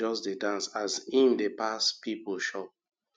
jus dey dance as im dey pass pipo shop